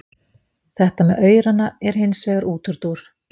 Þetta með aurana er hins vegar útúrdúr.